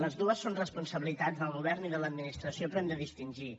les dues són responsabilitats del govern i de l’administració però hem de distingir